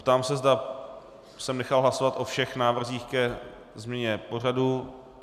Ptám se, zda jsem nechal hlasovat o všech návrzích ke změně pořadu.